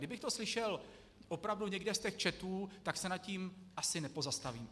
Kdybych to slyšel opravdu někde z těch chatů, tak se nad tím asi nepozastavím.